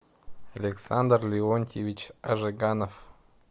александр леонтьевич жиганов